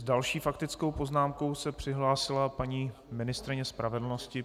S další faktickou poznámkou se přihlásila paní ministryně spravedlnosti.